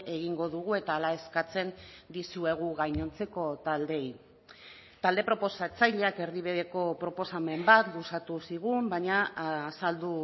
egingo dugu eta hala eskatzen dizuegu gainontzeko taldeei talde proposatzaileak erdibideko proposamen bat luzatu zigun baina azaldu